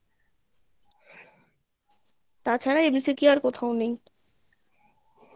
তাছাড়া MCQ আর কোথাও নেই